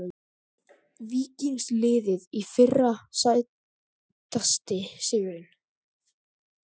Víkings liðið í fyrra Sætasti sigurinn?